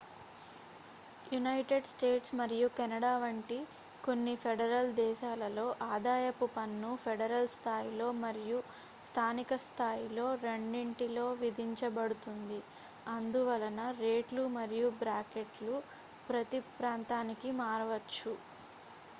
United States మరియు Canada వంటి కొన్ని ఫెడరల్ దేశాలలో ఆదాయపు పన్ను ఫెడరల్ స్థాయిలో మరియు స్థానిక స్థాయిలో రెండింటిలో విధించబడుతుంది అందువలన రేట్లు మరియు బ్రాకెట్లు ప్రతీ ప్రాంతానికి మారవచ్చు